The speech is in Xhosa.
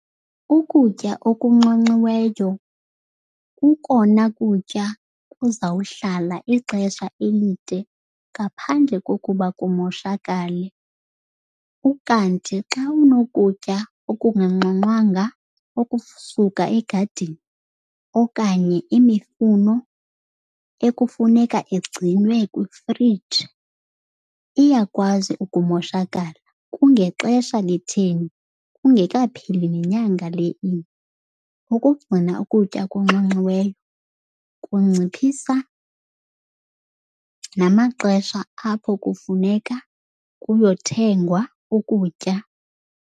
Ukutya okunxonxiweyo kukona kutya kuzawuhlala ixesha elide ngaphandle kokuba kumoshakale. Ukanti xa unokutya okunganxonxwanga okusuka egadini okanye imifuno ekufuneka igcinwe kwifriji, iyakwazi ukumoshakala kungexesha litheni, ingekapheli nenyanga le inye. Ukugcina ukutya okunxonxiweyo kunciphisa namaxesha apho kufuneka kuyothengwa ukutya.